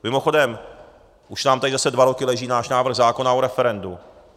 Mimochodem už nám tady zase dva roky leží náš návrh zákona o referendu.